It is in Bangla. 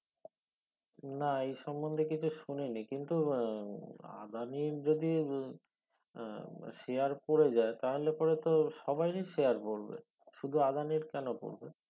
না এই সম্মন্ধে কিছু শুনিনি কিন্তু আহ আদানি যদি আহ share পরে যায় তাহলে পরে তো সবারি share পরবে শুধু আদানির কেনো পরবে